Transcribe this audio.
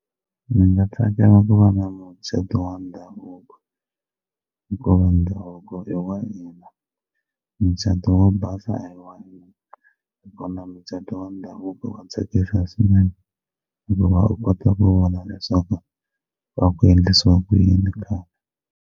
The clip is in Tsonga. Ndzi nga tsakela ku va na mucato wa ndhavuko hikuva ndhavuko i wa hina mucato wo basa a hi wa hina na kona mucato wa ndhavuko wa tsakisa swinene hikuva u kota ku vona leswaku va ku endlisiwa ku yini khale.